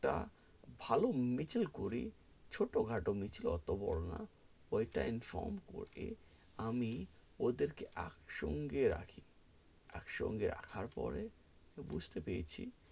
একটা ভালো মিছিল করি, ছোট-খাটো মিছিল অটো বড়ো না, ওই টা inform করে আমি ওদের কে একসঙ্গে রাখি, একসঙ্গে রাখার পরে, বুঝতে পেরেছি,